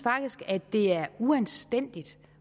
at det er uanstændigt